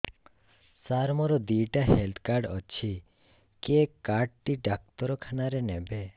ସାର ମୋର ଦିଇଟା health card ଅଛି କେ କାର୍ଡ ଟି ଡାକ୍ତରଖାନା ରେ ନେବେ